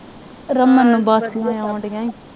Raman